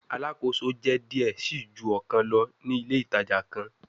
Alakoso jẹ diẹ sii ju ọkan lọ ni ile itaja kan